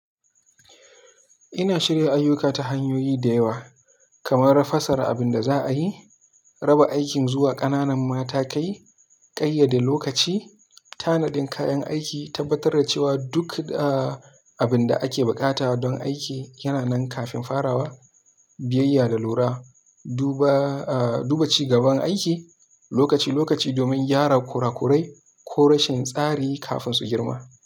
Ina shirya ayyuka ta hanyoyi da yawa, kamar rafasa abin da za a yi, raba aikin zuwa ƙananan matakai, ƙayyade lokaci, tanadin kayan aiki, tabbatar da cewa duk, ah, abin da ake buƙata don aiki yana nan kafin farawa, biyayya da lura, duba, ah, duba ci gaban aiki lokaci-lokaci domin gyara kurakurai ko rashin tsari kafin su girma.